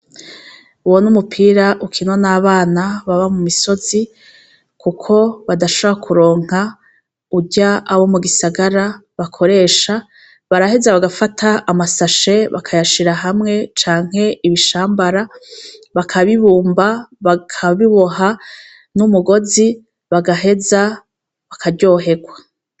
Uwo ni umupira ukinwa n'abana baba mu misozi kuko badashobora kuronka urya abo mu gisagara bakoresha. Baraheza bagafata amasashe bakayashira hamwe canke ibishambara bakabibumba, bakabiboha n'umugozi bagaheza bakaryoherwa.